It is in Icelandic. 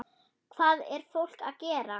Hvað er fólk að gera?